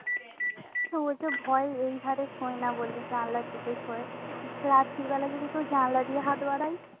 তো ওই যে ভয় এই খাটে শোয় না বললি জানলার দিকে শোয় রাত্রি বেলা যদি কেউ জানলা দিয়ে হাত বাড়ায়